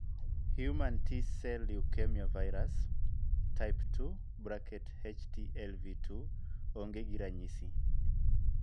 Human T cell leukemia virus, type 2 (HTLV 2) ong'e gi ranyisi .